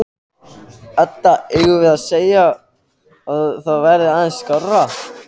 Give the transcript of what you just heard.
Edda: Eigum við að segja að það verði aðeins skárra?